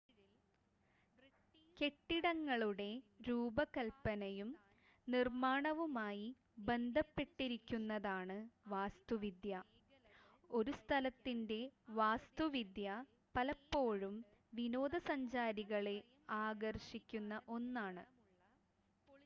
കെട്ടിടങ്ങളുടെ രൂപകൽപ്പനയും നിർമ്മാണവുമായി ബന്ധപ്പെട്ടിരിക്കുന്നതാണ് വാസ്തുവിദ്യ ഒരു സ്ഥലത്തിൻ്റെ വാസ്തുവിദ്യ പലപ്പോഴും വിനോദസഞ്ചാരികളെ ആകർഷിക്കുന്ന ഒന്നാണ്